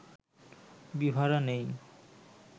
বিভারা নেই